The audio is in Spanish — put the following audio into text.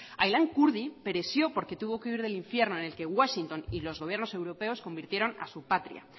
porque tuvo que huir del infierno en el que washington y los gobiernos europeos convirtieron a su patria